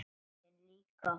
Röddin líka.